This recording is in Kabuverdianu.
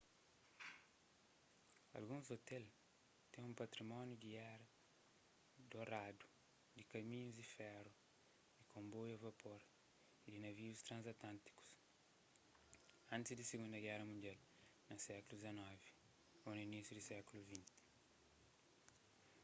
alguns ôtel ten un patrimóniu di éra doradu di kaminhus-di feru di konboiu a vapor y di navius tranzantlântikus antis di sigundu géra mundial na sékulu xix ô na inísiu di sékulu xx